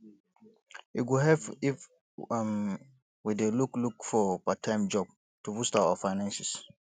e go help if um we dey look look for parttime job to boost our finances